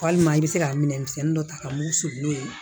Walima i bɛ se ka minɛnmisɛnnin dɔ ta ka mun suku n'o ye